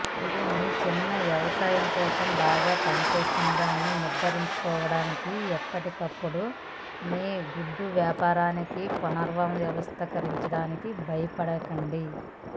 ఇది మీ చిన్న వ్యవసాయ కోసం బాగా పనిచేస్తుందని నిర్ధారించుకోవడానికి ఎప్పటికప్పుడు మీ గుడ్డు వ్యాపారాన్ని పునర్వ్యవస్థీకరించడానికి బయపడకండి